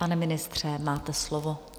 Pane ministře, máte slovo.